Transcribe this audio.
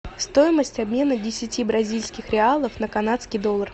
стоимость обмена десяти бразильских реалов на канадский доллар